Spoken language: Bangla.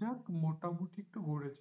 যাক মোটামুটি একটু ঘুরেছি।